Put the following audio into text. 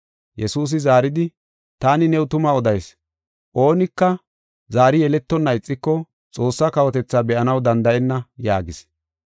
Yesuusi zaaridi, “Taani new tuma odayis; oonika zaari yeletonna ixiko Xoossaa kawotethaa be7anaw danda7enna” yaagis.